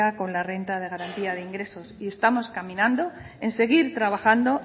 con la renta de garantía de ingresos y estamos caminando en seguir trabajando